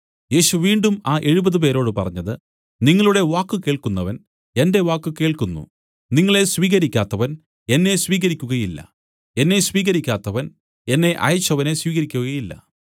യേശു വീണ്ടും ആ എഴുപത് പേരോടു പറഞ്ഞത് നിങ്ങളുടെ വാക്ക് കേൾക്കുന്നവൻ എന്റെ വാക്ക് കേൾക്കുന്നു നിങ്ങളെ സ്വീകരിക്കാത്തവൻ എന്നെ സ്വീകരിക്കുകയില്ല എന്നെ സ്വീകരിക്കാത്തവൻ എന്നെ അയച്ചവനെ സ്വീകരിക്കുകയില്ല